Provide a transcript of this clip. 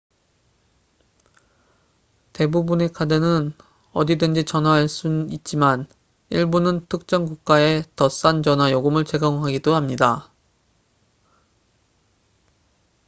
대부분의 카드는 어디든지 전화할 수 있지만 일부는 특정 국가에 더 싼 전화 요금을 제공하기도 합니다